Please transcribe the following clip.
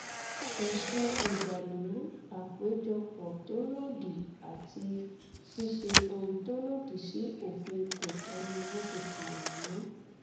ẹsùn ìdàlúrú àpéjọpọ tó lòdì àti ṣíṣe ohun tó lòdì sí òfin kọńtò ni wọn fi kàn wọn